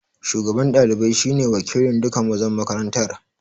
Shugaban ɗalibai shi ne wakilin duka mazan makarantar